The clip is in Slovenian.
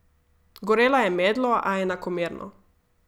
Gorela je medlo, a enakomerno.